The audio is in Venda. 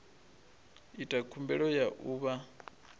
ita khumbelo ya u vha